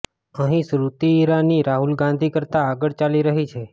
અહીં સ્મૃતિ ઈરાની રાહુલ ગાંધી કરતા આગળ ચાલી રહી છે